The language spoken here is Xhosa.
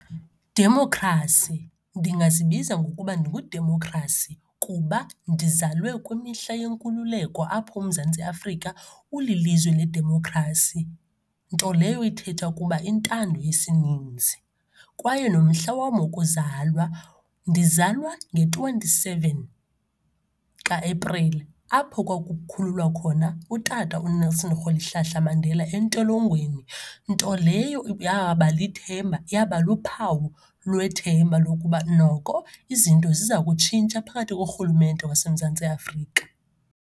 Demokhrasi, ndingazibiza ngokuba ndinguDemokhrasi kuba ndizalwe kwimihla yenkululeko apho uMzantsi Afrika ulilizwe ledemokhrasi nto leyo ithetha ukuba intando yesininzi. Kwaye nomhla wam wokuzalwa, ndizalwa nge-twenty-seven kaEprili apho kwakukhululwa khona uTata uNelson Rholihlahla Mandela entolongweni, nto leyo yaba lithemba, yaba luphawu lwethemba lokuba noko izinto ziza kutshintsha phakathi korhulumente wasemMzantsi Afrika.